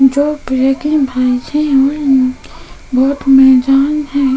जो black and white है और बहुत मैदान है।